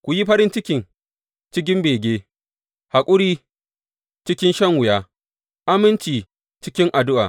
Ku yi farin ciki cikin bege, haƙuri cikin shan wuya, aminci cikin addu’a.